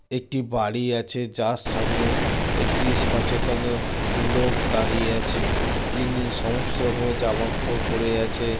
একটি বাড়ি আছে যার সামনে একটি সচেতন লোক দাঁড়িয়ে আছে। যিনি সমস্ত রকমের জামা কাপড় পড়ে আছে।